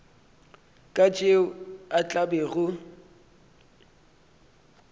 ka tšeo a tla bego